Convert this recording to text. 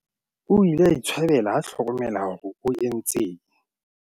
o ile a itshwabela ha a hlokomela hore o entseng